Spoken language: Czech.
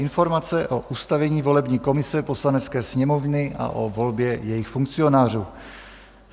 Informace o ustavení volební komise Poslanecké sněmovny a o volbě jejích funkcionářů